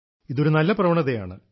ഇതൊരു നല്ല പ്രവണതയാണ്